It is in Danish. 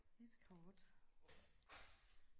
et kort